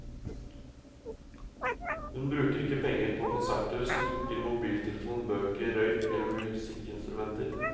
Hun bruker ikke penger på konserter, smykker, mobiltelefon, bøker, røyk eller musikkinstrumenter.